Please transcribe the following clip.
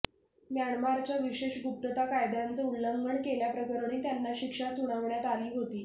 म्यानमारच्या विशेष गुप्तता कायद्याचं उल्लंघन केल्याप्रकरणी त्यांना शिक्षा सुनावण्यात आली होती